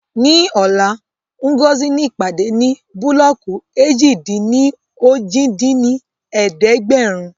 Ní ọ̀la, Ngozi ní ìpàdé ní búlọ́ọ̀kù èjì-dín-ní-ojì dín ní ẹ̀ẹ́dẹ́gbẹ́rún